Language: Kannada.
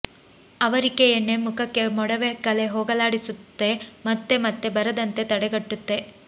ಅವರಿಕೆ ಎಣ್ಣೆ ಮುಖಕ್ಕೆ ಮೊಡವೆ ಕಲೆ ಹೋಗಲಾಡಿಸುತ್ತೆ ಮತ್ತು ಮತ್ತೆ ಬರದಂತೆ ತಡೆಗಟ್ಟುತ್ತೆ